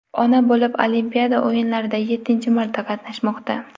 ona bo‘lib, Olimpiada o‘yinlarida yettinchi marta qatnashmoqda.